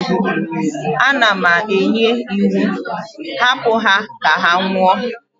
Ana m enye iwu, hapu ha ka ha nwụọ!